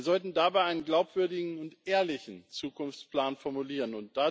Wir sollten dabei einen glaubwürdigen und ehrlichen Zukunftsplan formulieren.